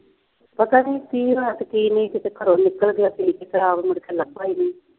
ਪਤਾ ਨਹੀਂ ਕੀ ਰਾਤ ਕੀ ਨਹੀਂ ਸੀ ਅਤੇ ਘਰੋ ਨਿਕਲ ਗਿਆ ਸੀ, ਫਿਰ ਆਪ ਮੁੜਕੇ ਲੱਭਾ ਨਹੀਂ